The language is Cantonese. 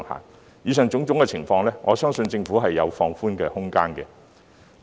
針對以上種種情況，我相信政府也是有放寬空間的。